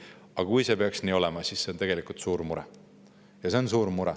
Aga kui see peaks nii olema, siis on see tegelikult suur mure.